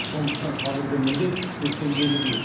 сондықтан қазіргі міндет көктемдегідей